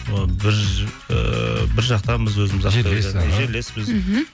ы ыыы бір жақтанбыз өзіміз жерлеспіз мхм